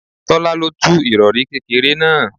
Tọ́lá lo tú irori kékeré náà.